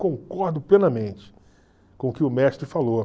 Concordo plenamente com o que o mestre falou.